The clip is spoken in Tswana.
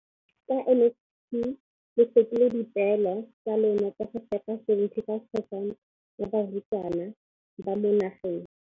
Ka NSNP le fetile dipeelo tsa lona tsa go fepa masome a supa le botlhano a diperesente ya barutwana ba mo nageng.